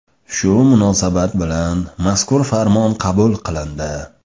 Shu munosabat bilan mazkur farmon qabul qilindi.